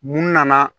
Mun nana